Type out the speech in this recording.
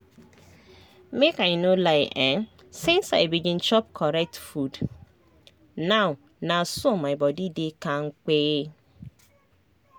make i no lie[um]since i begin chop correct beta food now na so my body dey kampe